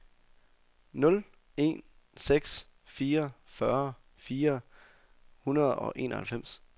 nul en seks fire fyrre fire hundrede og enoghalvfems